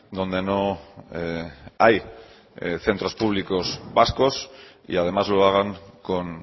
donde no hay centros públicos vascos y además lo hagan con